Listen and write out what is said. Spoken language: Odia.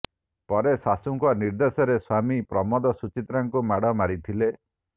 ପରେ ଶାଶୂଙ୍କ ନିର୍ଦ୍ଦେଶରେ ସ୍ୱାମୀ ପ୍ରମୋଦ ସୁଚିତ୍ରାଙ୍କୁ ମାଡ଼ ମାରିଥିଲେ